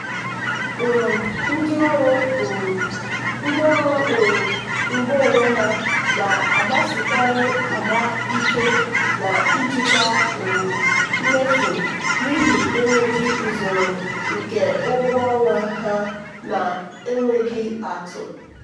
um ndị ọrụ um ndị ọrụ um ngo onwe na-agbasikarị mgba ike na njikwa um mmefu n'ihi enweghị usoro nke ụgwọ ọnwa ha na-enweghị atụ.